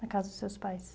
Da casa dos seus pais.